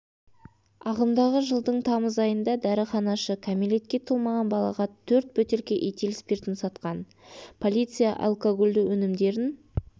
ағымдағы жылдың тамыз айында дәріханашы кәмелетке толмаған балаға төрт бөтелке этил спиртін сатқан полиция алкогольді өнімдерін